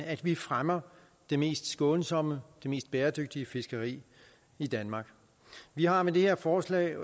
at vi fremmer det mest skånsomme og det mest bæredygtige fiskeri i danmark vi har med det her forslag